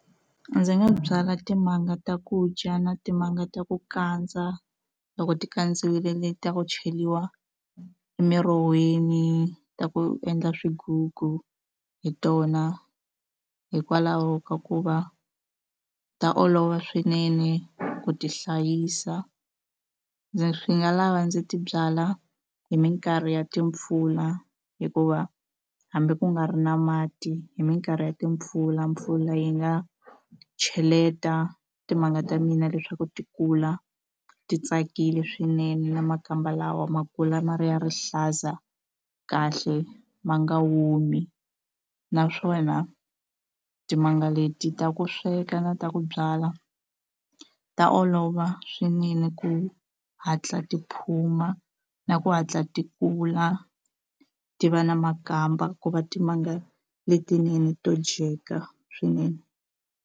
Ndzi nga byala timanga ta ku dya na timanga ta ku kandza loko ti kandziwile ta ku cheriwa emiroheni ta ku endla swigugu hi tona hikwalaho ka ku va ta olova swinene ku tihlayisa ndzi swi nga lava ndzi ti byala hi mikarhi ya timpfula hikuva hambi ku nga ri na mati hi mikarhi ya timpfula mpfula yi nga cheleta timanga ta mina leswaku ti kula ti tsakile swinene na makamba lawa ma kula ma ri ya rihlaza kahle ma nga omi naswona timanga leti ta ku sweka na ta ku byala ta olova swinene ku hatla ti phuma na ku hatla ti kula ti va na makamba ku va timanga letinene to dyeka swinene.